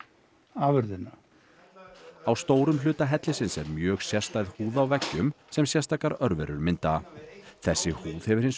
afurðina á stórum hluta hellisins er mjög sérstæð húð á veggjum sem sérstakar örverur mynda þessi húð hefur hins